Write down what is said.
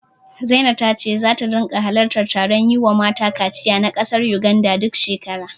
Zina ta ce zata ringa halartar taron yiwa mata kaciya na ƙasar Yuganda, duk shekara.